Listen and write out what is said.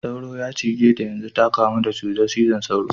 Sauro ya cize ta yanzu ta kamu da cutar cizon sauro.